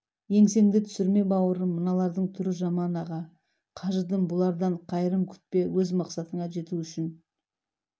еңсеңді түсірме бауырым мыналардың түрі жаман аға қажыдым бұлардан қайырым күтпе өз мақсаттарына жету үшін